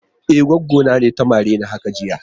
E, goggo na ne ta mare ni haka jiya.